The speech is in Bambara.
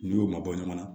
N'u y'o mabɔ ɲɔgɔn na